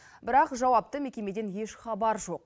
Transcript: бірақ жауапты мекемеден еш хабар жоқ